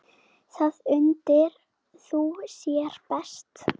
Þar undir þú þér best.